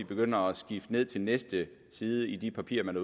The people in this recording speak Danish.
begynder at skifte ned til næste side i de papirer man